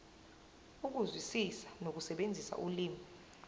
ukuzwisisa nokusebenzisa ulimi